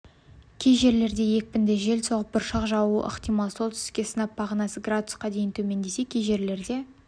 кей жерлерде екпінді жел соғып бұршақ жаууы ықтимал солтүстікте сынап бағанасы градусқа дейін төмендесе кей жерлерде